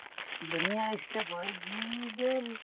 মানে ধুনীয়া step হয় , যি যেন